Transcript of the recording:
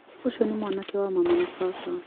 Ũcio nĩ mwanake wa mama wa baba.